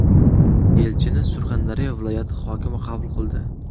Elchini Surxondaryo viloyati hokimi qabul qildi.